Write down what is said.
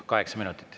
Kaheksa minutit.